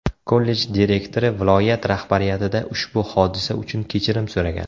Kollej direktori viloyat rahbariyatida ushbu hodisa uchun kechirim so‘ragan.